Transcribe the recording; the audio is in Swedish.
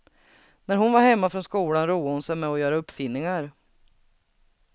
När hon var hemma från skolan roade hon sig med att göra uppfinningar.